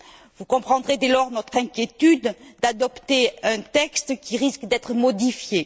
Vous comprendrez, dès lors, notre inquiétude à la perspective d'adopter un texte qui risque d'être modifié.